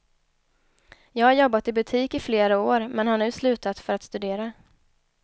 Jag har jobbat i butik i flera år men har nu slutat för att studera.